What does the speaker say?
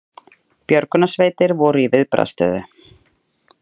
Björgunarsveitir voru í viðbragðsstöðu